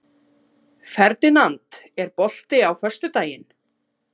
Ferdinand, er bolti á föstudaginn?